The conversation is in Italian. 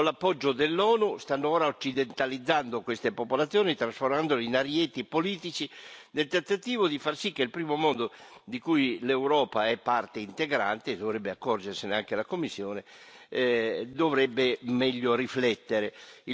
Con l'appoggio dell'ONU stanno ora occidentalizzando queste popolazioni, trasformandole in arieti politici, nel tentativo di far sì che il primo mondo di cui l'Europa è parte integrante, dovrebbe accorgersene anche la Commissione e dovrebbe meglio riflettere.